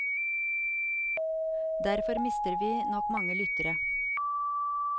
Derfor mister vi nok mange lyttere.